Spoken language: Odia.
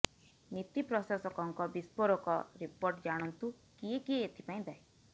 ନୀତି ପ୍ରଶାସକଙ୍କ ବିସ୍ଫୋରକ ରିପୋର୍ଟ ଜାଣନ୍ତୁ କିଏ କିଏ ଏଥିପାଇଁ ଦାୟୀ